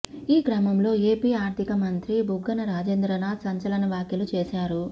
ఈ క్రమంలో ఏపీ ఆర్థికమంత్రి బుగ్గన రాజేంద్రనాథ్ సంచలన వ్యాఖ్యలు చేశారు